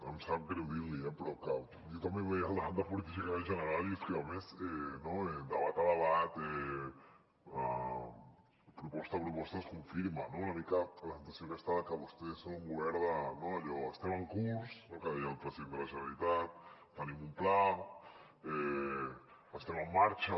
em sap greu dir l’hi eh però jo també veia el debat de política general i és que a més debat a debat proposta a proposta es confirma una mica la sensació aquesta de que vostès són un govern allò d’ estem en curs que deia el president de la generalitat tenim un pla estem en marxa